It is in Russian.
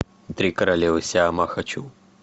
три королевы сиама хочу